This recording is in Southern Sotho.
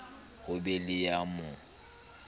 ho be le ya mo